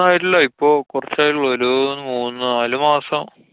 ആയിട്ടില്ല്യാ. ഇപ്പോ കുറച്ചായിട്ടൊള്ളൂ. ഒരു മൂന്നു നാലു മാസം.